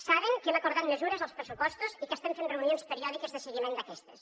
saben que hem acordat mesures als pressupostos i que estem fent reunions periòdiques de seguiment d’aquestes